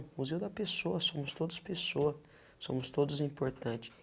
O Museu da Pessoa, somos todos pessoa, somos todos importante.